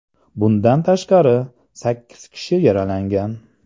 Bundan tashqari, sakkiz kishi yaralangan.